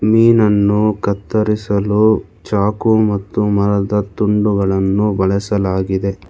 ಮೀನನ್ನು ಕತ್ತರಿಸಲು ಚಾಕು ಮತ್ತು ಮರದ ತುಂಡುಗಳನ್ನು ಬಳಸಲಾಗಿದೆ.